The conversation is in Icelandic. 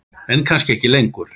En kannski ekki lengur.